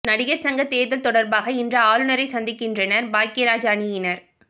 நடிகர் சங்க தேர்தல் தொடர்பாக இன்று ஆளுநரை சந்திக்கின்றனர் பாக்யராஜ் அணியினர்